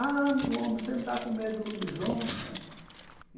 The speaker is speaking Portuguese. Ah, meu homem, você não está com medo do lobisomem, né?